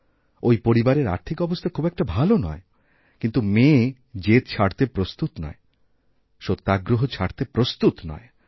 ওই পরিবারের আর্থিক অবস্থা খুব একটা ভালো নয় কিন্তু মেয়ে জেদছাড়তে প্রস্তুত নয় সত্যাগ্রহ ছাড়তে প্রস্তুত নয়